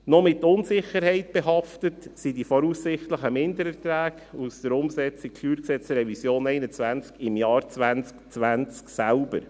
Noch mit Unsicherheit behaftet sind die voraussichtlichen Mindererträge aus der Umsetzung der StGRevision 2021 im Jahr 2020 selbst.